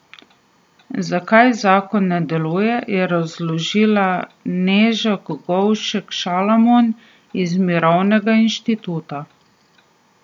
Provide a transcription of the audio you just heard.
Zakaj zakon ne deluje, je razložila Neža Kogovšek Šalamon iz Mirovnega inštituta.